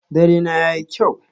Dare na yayi kyau.